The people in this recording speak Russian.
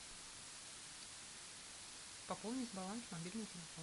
пополнить баланс мобильный телефон